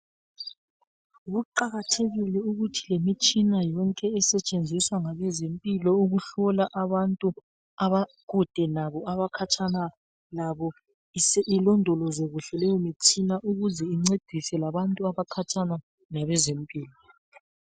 Kuqakathekile ukuthi lemitshina yonke esetshenziswa ngabezempilo ukuhlola abantu abakude labo ,abakhatshana labo . Ilondolozwe kuhle leyomitshina ukuze incedise labantu abakhatshana labezempilo.